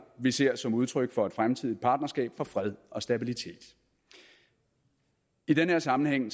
vi ser som udtryk for et fremtidigt partnerskab for fred og stabilitet i den her sammenhæng